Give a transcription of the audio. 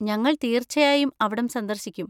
ഞങ്ങൾ തീർച്ചയായും അവിടം സന്ദർശിക്കും.